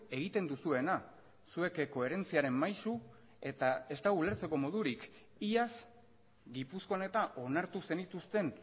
egiten duzuena zuek koherentziaren maisu eta ez dago ulertzeko modurik iaz gipuzkoan eta onartu zenituzten